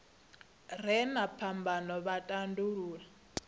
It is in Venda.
re na phambano vha tandulula